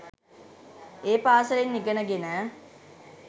ඒ පාසලෙන් ඉගෙන ගෙන